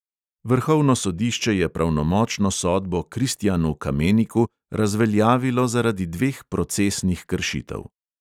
Vrhovno sodišče je pravnomočno sodbo kristijanu kameniku razveljavilo zaradi dveh procesnih kršitev.